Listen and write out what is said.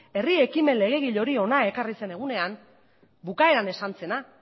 herri ekimen legegile hori hona ekarri zen egunean bukaeran esan zena